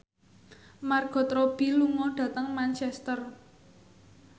Margot Robbie lunga dhateng Manchester